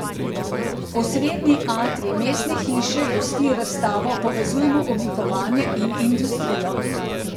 Osrednji atrij mestne hiše gosti razstavo Povezujemo oblikovanje in industrijo.